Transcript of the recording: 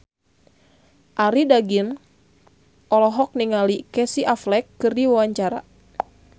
Arie Daginks olohok ningali Casey Affleck keur diwawancara